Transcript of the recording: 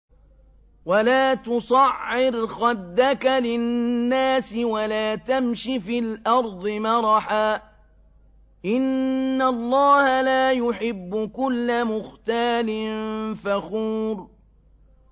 وَلَا تُصَعِّرْ خَدَّكَ لِلنَّاسِ وَلَا تَمْشِ فِي الْأَرْضِ مَرَحًا ۖ إِنَّ اللَّهَ لَا يُحِبُّ كُلَّ مُخْتَالٍ فَخُورٍ